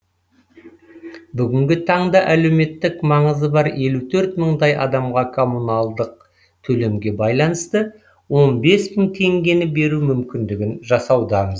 бүгінгі таңда әлеуметтік маңызы бар елу төрт мыңдай адамға коммуналдық төлемге байланысты он бес мың теңгені беру мүмкіндігін жасаудамыз